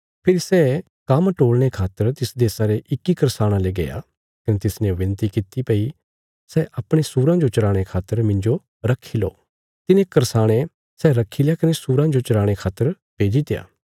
फेरी सै काम्म टोल़णे खातर तिस देशा रे इक्की करसाणे ले गया कने तिसने बिनती किति भई सै अपणे सूराँ जो चराणे खातर मिन्जो रखी लो तिने करसाणे सै रखील्या कने सूराँ जो चराणे खातर भेजित्या